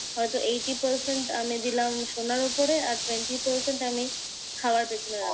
হয়ত eighty percent আমি দিলাম সোনার উপরে আর twenty percent আমি খাওয়ার পেছনে রাখবে।